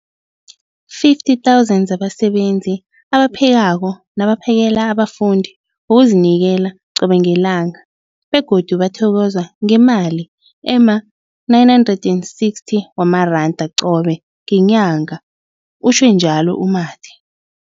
50 000 zabasebenzi abaphekako nabaphakela abafundi ngokuzinikela qobe ngelanga, begodu bathokozwa ngemali ema-960 wamaranda qobe ngenyanga, utjhwe njalo u-Mathe.